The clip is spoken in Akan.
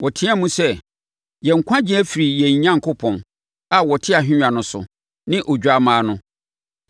Wɔteaam sɛ, “Yɛn nkwagyeɛ firi yɛn Onyankopɔn a ɔte ahennwa no so ne Odwammaa no.”